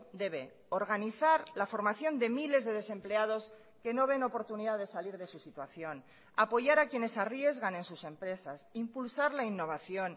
debe organizar la formación de miles de desempleados que no ven oportunidad de salir de su situación apoyar a quienes arriesgan en sus empresas impulsar la innovación